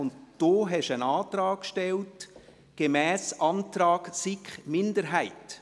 Und auch Sie stellten einen Antrag: «Gemäss Antrag SiK-Minderheit».